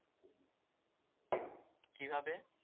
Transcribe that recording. কি ভাবে?